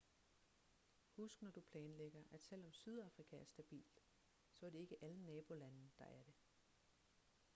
husk når du planlægger at selvom sydafrika er stabilt så er det ikke alle nabolande der er det